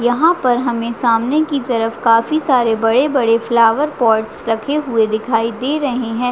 यहाँ पर हमें सामने की तरफ काफी सारे बड़े - बड़े फ्लावर पॉट्स रखे हुए दिखाई दे रहे है।